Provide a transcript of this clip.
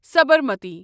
Sabarmati